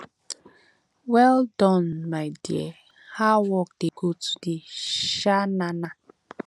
well Accepted my dear how work dey go today um na na